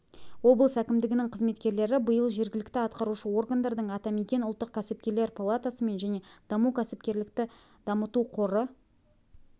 облыс әкімдігінің қызметкерлері биыл жергілікті атқарушы органдардың атамекен ұлттық кәсіпкерлер палатасымен және даму кәсіпкерлікті дамыту қоры